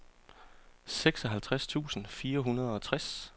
seksoghalvtreds tusind fire hundrede og tres